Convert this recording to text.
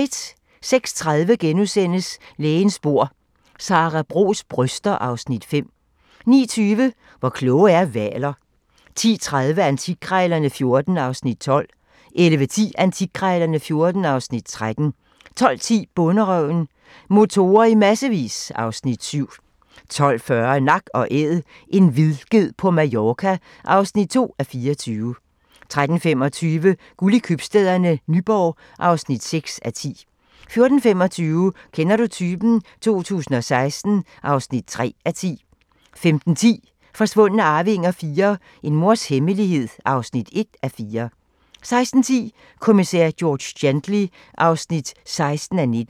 06:30: Lægens bord: Sara Bros bryster (Afs. 5)* 09:20: Hvor kloge er hvaler? 10:30: Antikkrejlerne XIV (Afs. 12) 11:10: Antikkrejlerne XIV (Afs. 13) 12:10: Bonderøven: Motorer i massevis (Afs. 7) 12:40: Nak & Æd – en vildged på Mallorca (2:24) 13:25: Guld i Købstæderne - Nyborg (6:10) 14:25: Kender du typen? 2016 (3:10) 15:10: Forsvundne arvinger IV - En mors hemmelighed (1:4) 16:10: Kommissær George Gently (16:19)